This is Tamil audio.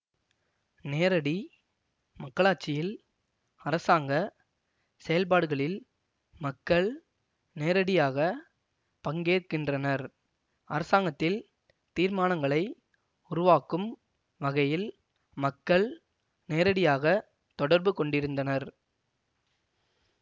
நேரடி மக்களாட்சியில் அரசாங்க செயல்பாடுகளில் மக்கள் நேரடியாக பங்கேற்கின்றனர் அரசாங்கத்தில் தீர்மானங்களை உருவாக்கும் வகையில் மக்கள் நேரடியாக தொடர்பு கொண்டிருந்தனர்